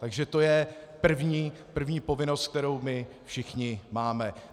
Takže to je první povinnost, kterou my všichni máme.